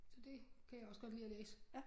Så det kan jeg også godt lide at læse